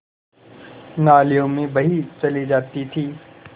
नालियों में बही चली जाती थी